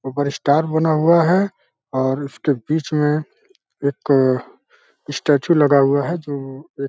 ऊपर स्टार बना हुआ है और उसके बीच में एक अ स्टैचू लगा हुआ है जो एक --